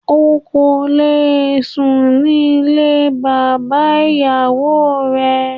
O kò le sùn ní ilé bàbá ìyàwó rẹ.